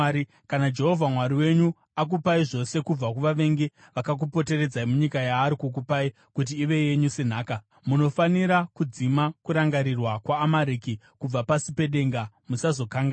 Kana Jehovha Mwari wenyu akupai zvose kubva kuvavengi vakakupoteredzai munyika yaari kukupai kuti ive yenyu senhaka, munofanira kudzima kurangarirwa kwaAmareki kubva pasi pedenga. Musazokanganwa!